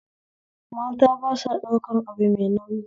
Mata ba sa ɗaukan abu mai nauyi